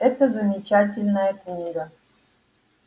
это замечательная книга